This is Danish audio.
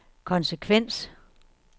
konsekvens